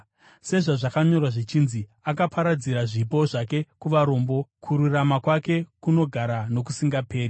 Sezvazvakanyorwa zvichinzi: “Akaparadzira zvipo zvake kuvarombo; kururama kwake kunogara nokusingaperi.”